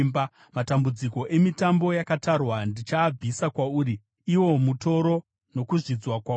“Matambudziko emitambo yakatarwa ndichaabvisa kwauri; iwo mutoro nokuzvidzwa kwauri.